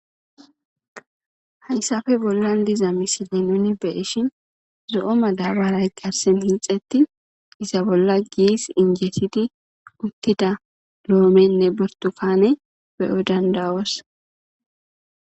Hayssafe bollan diza misile nuni beeshin zo'o ma daabaray garsen hinxetti isa bolla giis injetidi uttida loomenne bortufaane beyo dandawos.